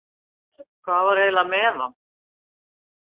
Hvað var eiginlega með hann?